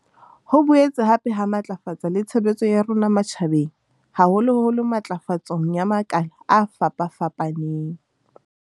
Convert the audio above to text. Ho boetse hape ha matlafatsa le tshebetso ya rona matjha beng haholoholo ntlafatsong ya makala a fapafapaneng.